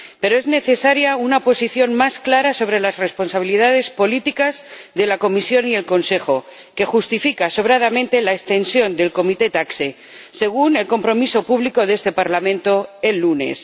Pero es necesaria una posición más clara sobre las responsabilidades políticas de la Comisión y el Consejo, lo que justifica sobradamente la prórroga del mandato de la Comisión TAXE, según el compromiso público de este Parlamento el lunes.